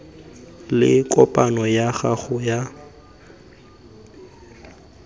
le kopo ya gago ya